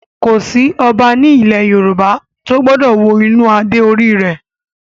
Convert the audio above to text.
Kò sí Ọba ní ilẹ̀ Yorùbá tó gbọ́dọ̀ wo inú adé orí rẹ̀